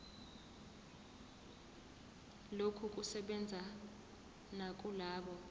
lokhu kusebenza nakulabo